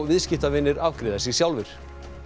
viðskiptavinir afgreiða sig sjálfir